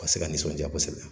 A ka se ka nisɔndiya kosɛbɛ.